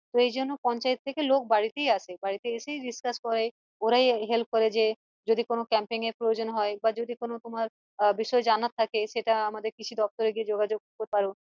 তো এইজন্য পঞ্চায়েত থেকে লোক বাড়িতেই আসে বাড়িতে এসেই discuss করে ওড়াই help করে যে যদি কোনো camping এর প্রয়োজন হয় বা যদি কোনো তোমার আহ বিষয়ের জানার থাকে সেটা আমাদের কৃষি দপ্তরে গিয়ে যোগাযোগ করতে পারো